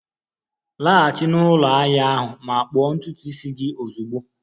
Laghachi na ụlọ ahia ahụ ma kpụọ ntutu isi gị ozugbo a!